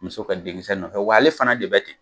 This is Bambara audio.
Muso ka denkisɛ nɔfɛ w'ale fana de bɛ ten.